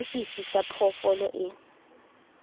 le fifi sa phoofolo e